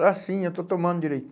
Ah, sim, eu estou tomando